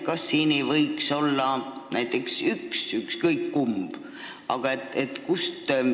Kas ei võiks olla üks, ükskõik kumb ministeeriumidest?